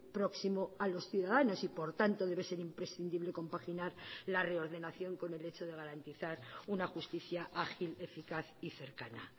próximo a los ciudadanos y por tanto debe ser imprescindible compaginar la reordenación con el hecho de garantizar una justicia ágil eficaz y cercana